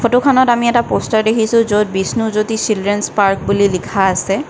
ফটোখনত আমি এটা প'ষ্টাৰ দেখিছোঁ য'ত বিষ্ণুজ্যোতি চিলড্ৰেনছ পাৰ্ক বুলি লিখা আছে।